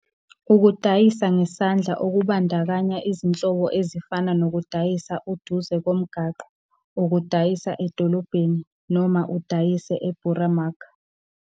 Ukudayisa ngesandla okubandakanya izinhlobo ezifana nokudayisa uduze komgwaqo, ukudayisa edolobheni, noma ukudayise 'e-boeremark'.